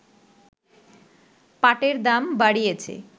পাটের দাম বাড়িয়েছে